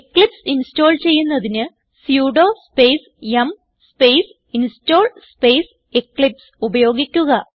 Eclipse install ചെയ്യുന്നതിന് sudo space yum space install space Eclipse ഉപയോഗിക്കുക